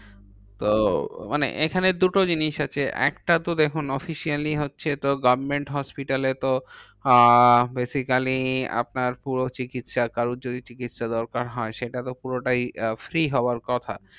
তো মানে এখানে দুটো জিনিস আছে। একটা তো দেখুন officially হচ্ছে তো government hospital এ তো আহ basically আপনার পুরো চিকিৎসার কারোর যদি চিকিৎসা দরকার হয় সেটা পুরোটাই free হওয়ার কথা।